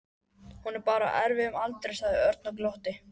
Hún er bara á erfiðum aldri sagði Örn og glotti.